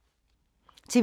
TV 2